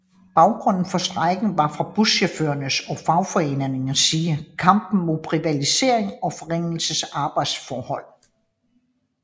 Baggrunden for strejken var fra buschaufførernes og fagforeningernes side kampen mod privatisering og forringelse af arbejdsforhold